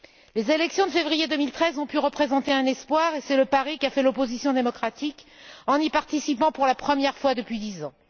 Les élections de février 2013 ont pu représenter un espoir, et c'est le pari qu'a fait l'opposition démocratique en y participant pour la première fois depuis dix ans.